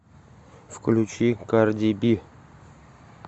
включи карди би